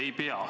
Ei pea.